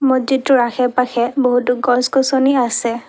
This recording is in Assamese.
মছজিদটোৰ আশে পাশে বহুতো গছ গছনি আছে।